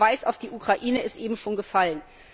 Der Verweis auf die Ukraine ist eben schon gefallen.